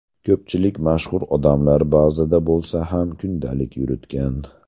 Ko‘pchilik mashhur odamlar ba’zida bo‘lsa ham, kundalik yuritgan.